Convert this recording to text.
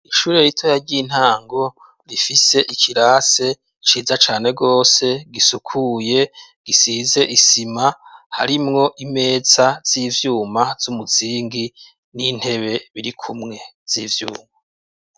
ishuri ritoya ry'intango rifise ikirase ciza cane gose gisukuye gisize isima harimwo imeza z'ivyuma z'umuzingi n'intebe biri kumwe z'ivyuma.